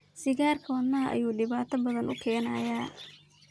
Sigarka wadnahadha ayu dibata badaan ukeenaya.